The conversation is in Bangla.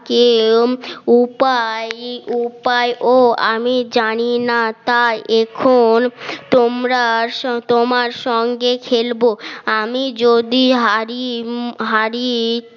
কেউ উপায়ও আমি জানিনা তাই এখন তোমরা আসো তোমার সঙ্গে খেলব আমি যদি হারি হারি